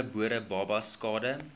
ongebore babas skade